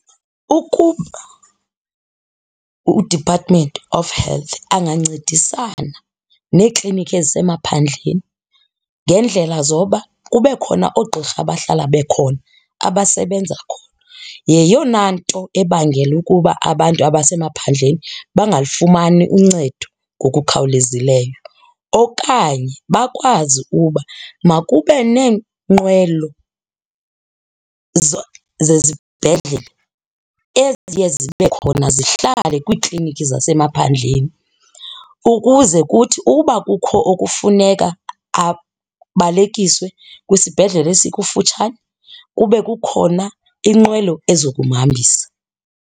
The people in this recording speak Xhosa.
Ukuba uDepartment of Health angancedisana neeklinikhi ezisemaphandleni ngendlela zoba kube khona oogqirha bahlala bekhona abasebenza khona. Yeyona nto ebangela ukuba abantu abasemaphandleni bangalifumani uncedo ngokukhawulezileyo. Okanye bakwazi uba makube neenqwelo zezibhedlele eziye zibe khona zihlale kwiikliniki zasemaphandleni ukuze kuthi uba kukho okufuneka abalekiswe kwisibhedlele esikufutshane kube kukhona inqwelo ezo kumhambisa.